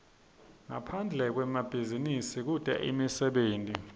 ngaphande kwemabhizinisi kute imisebenti